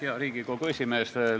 Hea Riigikogu esimees!